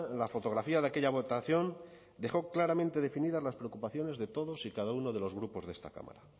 la fotografía de aquella votación dejó claramente definidas las preocupaciones de todos y cada uno de los grupos de esta cámara